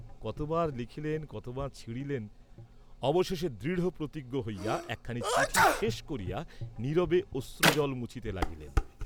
কতবার লিখিলেন কতবার ছিঁড়িলেন, অবশেষে দৃঢ়প্রতিজ্ঞ হইয়া একখানি চিঠি শেষ করিয়া নীরবে অশ্রুজল মুছিতে লাগিলেন।